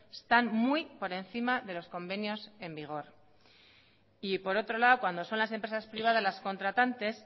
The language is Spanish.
están muy por encima de los convenios en vigor por otro lado cuando son las empresas privadas las contratantes